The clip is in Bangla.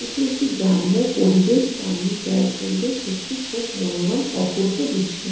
এটি একটি গ্রাম্য পরিবেশ। গ্রাম্য প্রা পরিবেশ সত্যি খুব মনোরম অপূর্ব দৃশ্য--